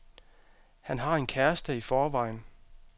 Han har en kæreste i forvejen.